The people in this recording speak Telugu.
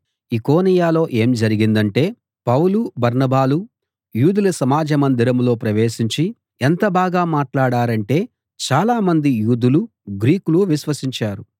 ఈకొనియలో ఏం జరిగిందంటే పౌలు బర్నబాలు యూదుల సమాజ మందిరంలో ప్రవేశించి ఎంత బాగా మాట్లాడారంటే చాలామంది యూదులూ గ్రీకులూ విశ్వసించారు